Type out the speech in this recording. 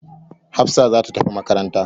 Hafsa za ta tafi makaranta.